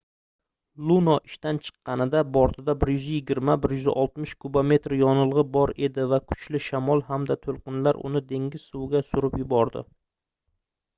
luno ishdan chiqqanida bortida 120-160 kubometr yonilgʻi bor edi va kuchli shamol hamda toʻlqinlar uni dengiz suviga surib yubordi